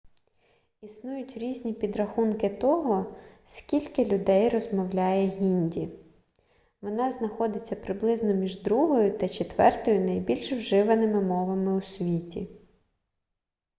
існують різні підрахунки того скільки людей розмовляє гінді вона знаходиться приблизно між другою та четвертою найбільш вживаними мовами у світі